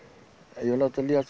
ég vil láta líða á